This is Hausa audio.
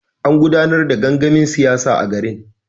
An gudanar da gangamin siyasa a garin.